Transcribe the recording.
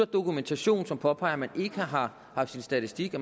dokumentation som påpeger at man ikke har haft sin statistik